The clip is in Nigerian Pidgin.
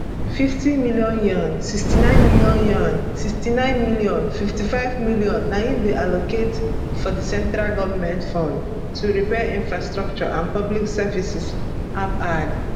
fifty million yuan 69m yuan 69m 55m na im dem allocate from di central goment funds to repair infrastructure and public services ap add